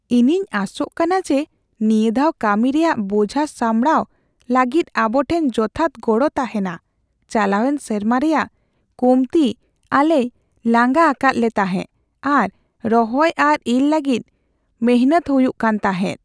"ᱤᱧᱤᱧ ᱟᱥᱚᱜ ᱠᱟᱱᱟ ᱡᱮ, ᱱᱤᱭᱟᱹ ᱫᱷᱟᱣ ᱠᱟᱹᱢᱤ ᱨᱮᱭᱟᱜ ᱵᱳᱡᱷᱟ ᱥᱟᱢᱵᱲᱟᱣ ᱞᱟᱹᱜᱤᱫ ᱟᱵᱚ ᱴᱷᱮᱱ ᱡᱚᱛᱷᱟᱛ ᱜᱚᱲᱚ ᱛᱟᱦᱮᱱᱟ ᱾ ᱪᱟᱞᱟᱣᱮᱱ ᱥᱮᱨᱢᱟ ᱨᱮᱭᱟᱜ ᱠᱚᱢᱛᱤ ᱟᱞᱮᱭ ᱞᱟᱸᱜᱟ ᱟᱠᱟᱫ ᱞᱮ ᱛᱟᱦᱮᱸ ᱟᱨ ᱨᱚᱦᱚᱭ ᱟᱨ ᱤᱨ ᱞᱟᱹᱜᱤᱫ ᱢᱤᱱᱦᱟᱹᱛ ᱦᱩᱭᱩᱜ ᱠᱟᱱ ᱛᱟᱦᱮᱸᱜ ᱾